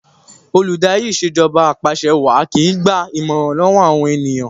Olùdarí Ìṣèjọba Apàṣẹwàá kìí gba ìmọ̀ràn lọ́wọ́ àwọn ènìyàn